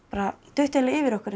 duttu bara yfir okkur